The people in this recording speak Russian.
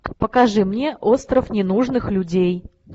покажи мне остров ненужных людей